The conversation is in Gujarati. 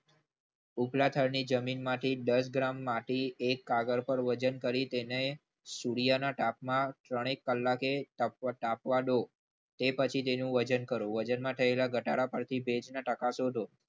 ઉપલા થરની જમીનમાંથી દસ ગ્રામ માટી એનું વજન કરી તેને સૂર્યના તાપમાન ત્રણેક કલાક કાપવા દો તે પછી તેનું વજન કરો વજનમાં થયેલા ઘટાડાથી ભેજના ટકા શોધો.